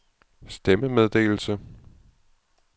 stemmemeddelelse